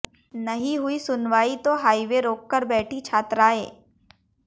नहीं हुई सुनवाई तो हाईवे रोक कर बैठी छात्राएं